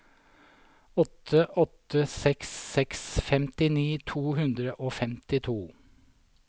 åtte åtte seks seks femtini to hundre og femtito